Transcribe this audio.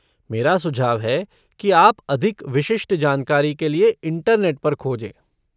मेरा सुझाव है कि आप अधिक विशिष्ट जानकारी के लिए इंटरनेट पर खोजें।